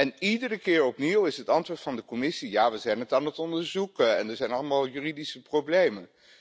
En iedere keer opnieuw is het antwoord van de Commissie ja, we zijn het aan het onderzoeken en er zijn allemaal juridische problemen.